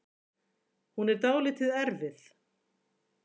Hún er dálítið erfið